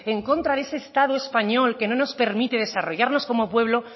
en contra de ese estado español que no nos permite desarrollarnos como pueblo